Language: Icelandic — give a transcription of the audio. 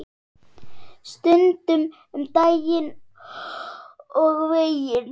Stundum um daginn og veginn.